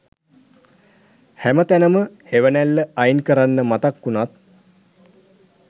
හැම තැනම හෙවනැල්ල අයින් කරන්න මතක් වුණත්